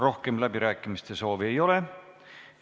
Rohkem läbirääkimiste soovi ei ole.